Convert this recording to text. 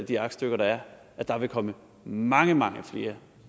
de aktstykker der er at der vil komme mange mange flere